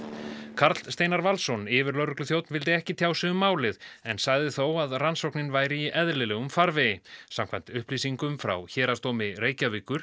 Karl Steinar Valsson yfirlögregluþjónn vildi ekki tjá sig um málið en sagði þó að rannsóknin væri í eðlilegum farvegi samkvæmt upplýsingum frá Héraðsdómi Reykjavíkur